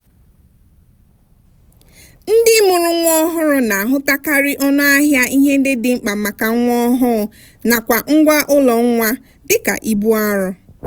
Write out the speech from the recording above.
ndị mụrụ nwa ọhụrụ na-ahụtakarị ọnụ ahịa ihe ndị dị mkpa maka nwa ọhụụ nakwa ngwa ụlọ nwa dika ibu arọ.